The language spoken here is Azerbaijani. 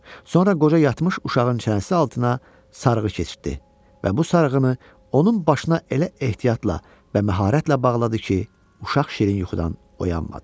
Sonra qoca yatmış uşağın çənəsi altına sarığı keçirtdi və bu sarğını onun başına elə ehtiyatla və məharətlə bağladı ki, uşaq şirin yuxudan oyanmadı.